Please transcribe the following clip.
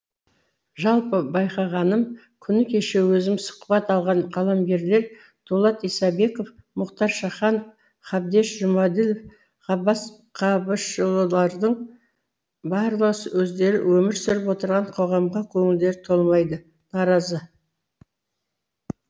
жалпы байқағаным күні кеше өзім сұхбат алған қаламгерлер дулат исабеков мұхтар шаханов қабдеш жұмаділ ғаббас қабышұлылардың барлығы өздері өмір сүріп отырған қоғамға көңілдері толмайды наразы